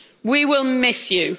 We will miss